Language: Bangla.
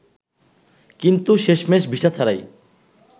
কিন্তু শেষমেশ ভিসা ছাড়াই